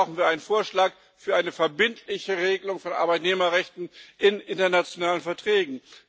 Deswegen brauchen wir einen Vorschlag für eine verbindliche Regelung von Arbeitnehmerrechten in internationalen Verträgen.